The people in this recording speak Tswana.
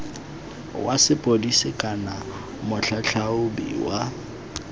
wa sepodisi kana motlhatlhaobi wa